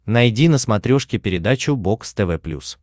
найди на смотрешке передачу бокс тв плюс